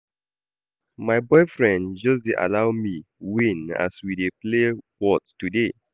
My boyfriend just dey allow me win as we dey play whot today